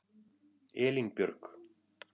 Elínbjörg